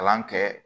Kalan kɛ